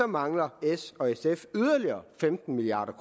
mangler s og sf yderligere femten milliard